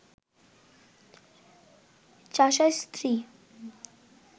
চাষার স্ত্রী